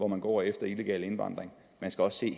man går efter illegal indvandring man skal også se